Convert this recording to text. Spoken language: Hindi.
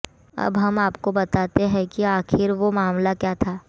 अब हम आपको बताते हैं कि आखिर वो मामला क्या है